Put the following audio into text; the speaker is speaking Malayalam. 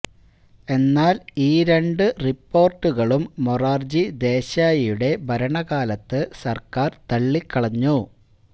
എന്നാൽ ഈ രണ്ടു റിപ്പോർട്ടുകളും മൊറാർജി ദേശായിയുടെ ഭരണകാലത്ത് സര്ക്കാര് തള്ളിക്കളഞ്ഞു